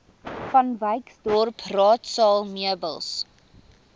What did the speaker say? vanwyksdorp raadsaal meubels